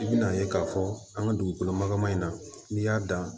I bi n'a ye k'a fɔ an ka dugukolo magama in na n'i y'a dan